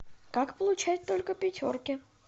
как получать только пятерки